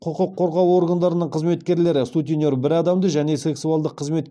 құқық қорғау органдарының қызметкерлері сутенер бір адамды және сексуалдық қызмет